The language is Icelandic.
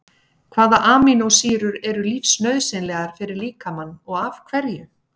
Hvaða amínósýrur eru lífsnauðsynlegar fyrir líkamann og af hverju?